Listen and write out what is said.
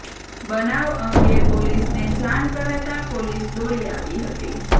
બનાવ અંગે પોલીસને જાણ કરાતા પોલીસ દોડી આવી હતી